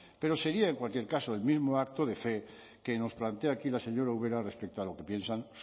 pero sería en cualquier caso el mismo acto de fe que nos plantea aquí la señora ubera respecto a lo que piensan